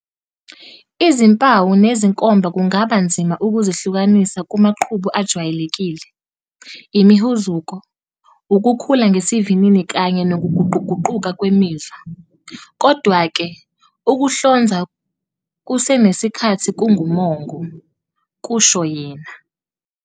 "Izimpawu nezinkomba kungaba nzima ukuzihlukanisa kumaqhubu ajwayelekile, imihuzuko, ukukhula ngesivinini kanye nokuguquguquka kwemizwa. Kodwa-ke, ukuhlonzwa kusenesikhathi kungumongo," kusho yena.